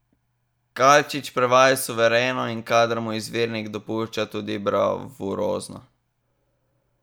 Kalčič prevaja suvereno, in kadar mu izvirnik dopušča, tudi bravurozno.